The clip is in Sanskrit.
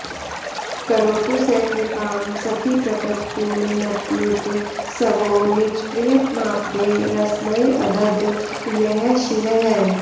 करोतु स कृपां सखीप्रकटपूर्णनत्युत्सवो निजप्र्यतमापदे रसमयेऽधद् यः शिरः